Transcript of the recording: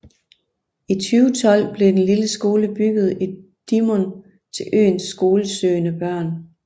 I 2012 blev den lille skole bygget i Dímun til øens skolesøgende børn